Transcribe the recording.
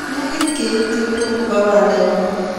negit keitchi let nebo banda nyoo